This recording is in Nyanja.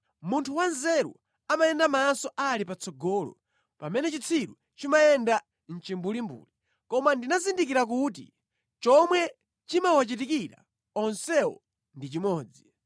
Munthu wanzeru amayenda maso ali patsogolo, pamene chitsiru chimayenda mʼchimbulimbuli; koma ndinazindikira kuti chomwe chimawachitikira onsewo ndi chimodzi.